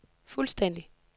fuldstændig